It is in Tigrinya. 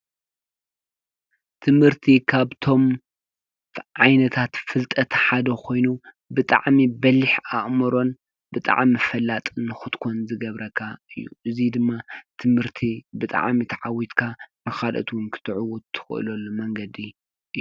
ትምህርት ካብቶሞ ዓይነታት ፍልጠት ሓደ ኮይኑ ብጣዕሚ በሊሕ ኣእምሮን ብጣዕሚ ፈላጥ ንክትኮን ዝገብረካ እዩ፡፡ እዚ ድማ ትምህርት ብጣዕሚ ታዓዉትካ ንካልኦት እዉን ከትዕዉት ትክእለሉ መነገዲ እዩ፡፡